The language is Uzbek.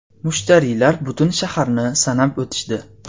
Mushtariylar butun shaharni sanab o‘tishdi.